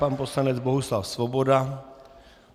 Pan poslanec Bohuslav Svoboda.